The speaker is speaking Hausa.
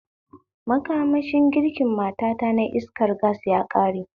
Makamashin girkin matata na iskar gas yaƙare